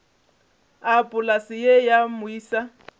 a polase ye ya moisa